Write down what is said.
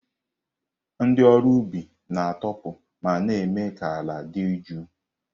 Ndị ọrụ ubi na-atọpụ ma na-eme ka ala dị jụụ.